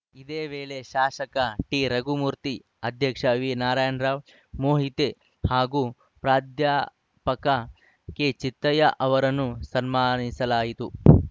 ಇದೇ ವೇಳೆ ಶಾಸಕ ಟಿರಘುಮೂರ್ತಿ ಅಧ್ಯಕ್ಷ ವಿನಾರಾಯಣರಾವ್‌ ಮೋಹಿತೆ ಹಾಗೂ ಪ್ರಾಧ್ಯಾ ಪಕ ಕೆಚಿತ್ತಯ್ಯ ಅವರನ್ನು ಸನ್ಮಾನಿಸಲಾಯಿತು